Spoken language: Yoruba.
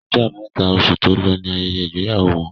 Ọjọ́ abámẹ́ta, osù tó lọ ní ayẹyẹ ìgbéyàwó wọn